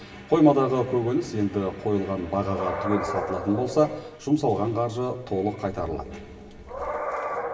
қоймадағы көкөніс енді қойылған бағаға түгел сатылатын болса жұмсалған қаржы толық қайтарылады